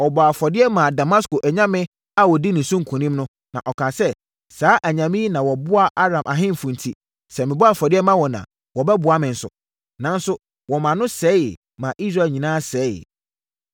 Ɔbɔɔ afɔdeɛ maa Damasko anyame a wɔdii ne so nkonim no, na ɔkaa sɛ, “Saa anyame yi na wɔboaa Aram ahemfo enti, sɛ mebɔ afɔdeɛ ma wɔn a, wɔbɛboa me nso.” Nanso, wɔmaa no sɛeeɛ, ma Israel nyinaa sɛeeɛ.